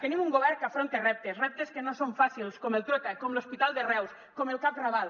tenim un govern que afronta reptes reptes que no són fàcils com el trueta com l’hospital de reus com el cap raval